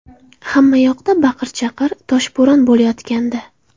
Hamma yoqda baqir-chaqir, toshbo‘ron bo‘layotgandi.